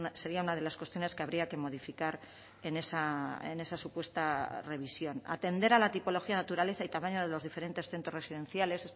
sería una de las cuestiones que habría que modificar en esa supuesta revisión atender a la tipología naturaleza y tamaño de los diferentes centros residenciales